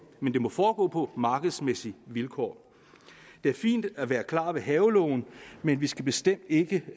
men det må foregå på markedsvilkår det er fint at være klar ved havelågen men vi skal bestemt ikke